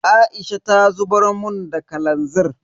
Aisha ta zubar mun da kalanzir.